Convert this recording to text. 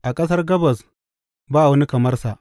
A ƙasar Gabas ba wani kamar sa.